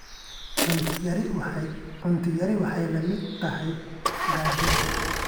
Cunto yari waxay la mid tahay gaajada.